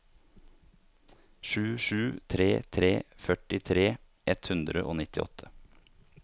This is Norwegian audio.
sju sju tre tre førtitre ett hundre og nittiåtte